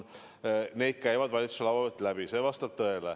Need käivad valitsuse laua pealt läbi, see vastab tõele.